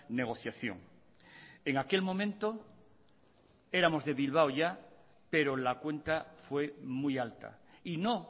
negociación en aquel momento éramos de bilbao ya pero la cuenta fue muy alta y no